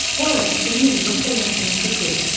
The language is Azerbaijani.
Bu arada Kennedy doktora yaxınlaşıb dedi: